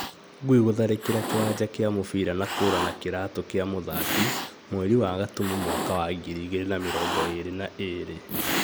Ngui gũtharĩkĩra kĩwanja gĩa mũbira na kũra na kĩratu kĩa mũthaki, mweri wa Gatumu mwaka wa ngiri igĩrĩ na mĩrongo ĩrĩ na ĩrĩ